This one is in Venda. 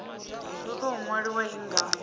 yo tou nwalwaho i nga